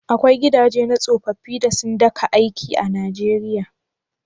Akwai gidaje na tsofaffi da sun daka aiki a Nijeriya?